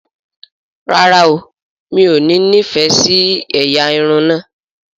ràrá óò mi'o ní ní ìfẹ sí ẹyà Irun na.